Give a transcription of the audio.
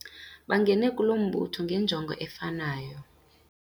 Bangene kulo mbutho ngenjongo efanayo.